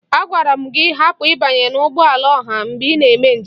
Agwara m gị hapụ ịbanye n'ụgbọala ọha mgbe ị na-eme njem!